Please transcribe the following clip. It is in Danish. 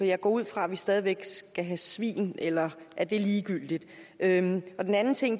jeg går ud fra at vi stadig væk skal have svin eller er det ligegyldigt det andet